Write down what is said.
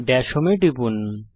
Das home এ টিপুন